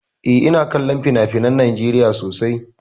Eh, ina kallon finafinan Najeriya sosai.